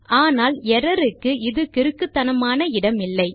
ஆனால் எர்ரர் க்கு இது கிறுக்குத்தனமான இடமில்லை